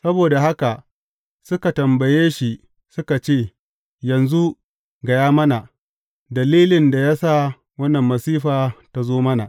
Saboda haka suka tambaye shi suka ce, Yanzu, gaya mana, dalilin da ya sa wannan masifa ta zo mana?